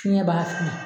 Fiɲɛ b'a fili